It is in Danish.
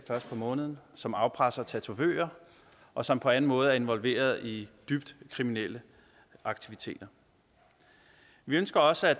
først på måneden som afpresser tatovører og som på anden måde er involveret i dybt kriminelle aktiviteter vi ønsker også at